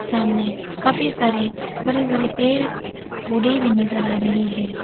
सामने काफी सारे बड़े बड़े पेड़ पौधे भी नजर आ रहे हैं।